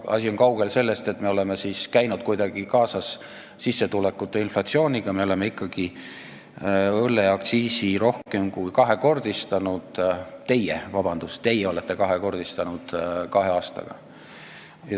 Asi on kaugel sellest, et me oleme käinud kuidagi kaasas sissetulekute, inflatsiooniga, me oleme ikkagi õlleaktsiisi rohkem kui kahekordistanud, vabandust, teie olete kahekordistanud kahe aastaga.